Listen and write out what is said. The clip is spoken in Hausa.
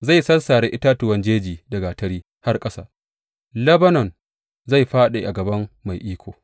Zai sassare itatuwan jeji da gatari har ƙasa; Lebanon zai fāɗi a gaban Mai Iko.